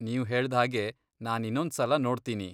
ನೀವ್ ಹೇಳ್ದ್ಹಾಗೆ ನಾನ್ ಇನ್ನೊಂದ್ಸಲ ನೋಡ್ತೀನಿ.